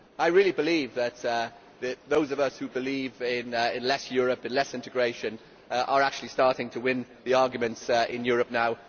I really believe that those of us who believe in less Europe and less integration are actually starting to win the arguments in Europe now.